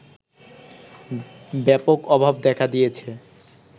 ব্যাপক অভাব দেখা দিয়েছে